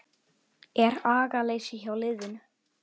Er agaleysi hjá liðinu?